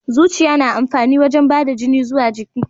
Zuciya na amfani wajen bada da jini zuwa jiki.